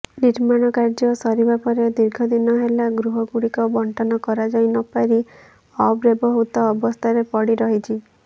ନିର୍ମାଣ କାର୍ଯ୍ୟ ସରିବା ପରେ ଦୀର୍ଘଦିନ ହେଲା ଗୃହଗୁଡ଼ିକ ବଣ୍ଟନ କରାଯାଇନପାରି ଅବ୍ୟବହୃତ ଅବସ୍ଥାରେ ପଡ଼ିରହିଛି